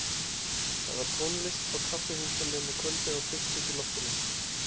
Það var tónlist á kaffihúsunum á kvöldin og bylting í loftinu.